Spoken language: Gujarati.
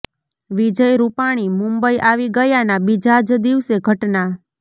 વિજય રૂપાણી મુંબઈ આવી ગયાના બીજા જ દિવસે ઘટના